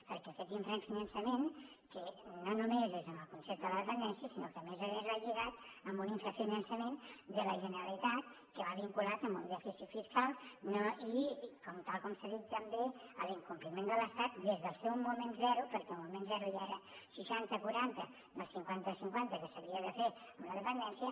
perquè aquest infrafinançament no només és en el concepte de la dependència sinó que a més a més va lligat amb un infrafinançament de la generalitat que va vinculat a un dèficit fiscal i tal com s’ha dit també a l’incompliment de l’estat des del seu moment zero perquè al moment zero ja era seixanta quaranta del cinquanta cinquanta que s’havia de fer amb la dependència